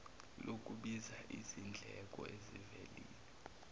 lokubiza zindleko ezivelile